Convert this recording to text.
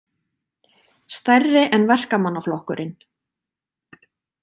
Stærri en Verkamannaflokkurinn